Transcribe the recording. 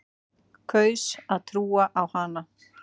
Kaus að trúa á hana.